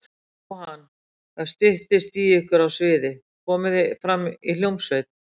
Jóhann: Það styttist í ykkur á sviði, komið þið fram í hljómsveit?